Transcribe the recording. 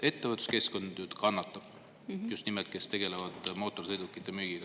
Ettevõtluskeskkond nüüd kannatab, just nimelt need, kes tegelevad mootorsõidukite müügiga.